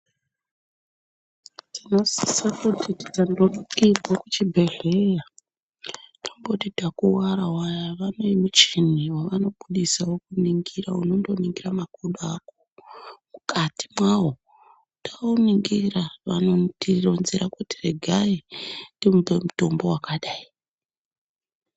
Tinosise kuti taenda kuchibhehlera toti vanenge vakuwara vaya. Vane muchini wavanobudisa wavanoningira makodo ako mukati mwawo. Tauningira vanomutironzera kuti regai timupe mutombo wakadayi.